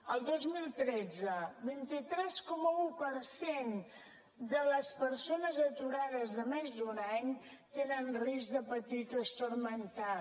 el dos mil tretze vint tres coma un per cent de les persones aturades de més d’un any tenen risc de patir trastorn mental